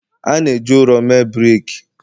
A na-eji ụrọ mee brik